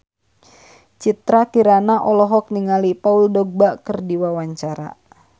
Citra Kirana olohok ningali Paul Dogba keur diwawancara